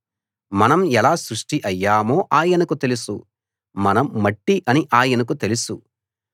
మనం ఎలా సృష్టి అయ్యామో ఆయనకు తెలుసు మనం మట్టి అని ఆయనకు తెలుసు